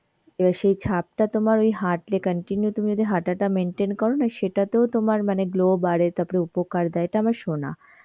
এবার সেই ছাপটা তোমার ওই হাঁটলে continue তুমি যদি হাঁটাটা maintain করো না সেটাতেও তোমার মানে glow বারে, তাপরে উপকার দেয় এটা আমার শোনা.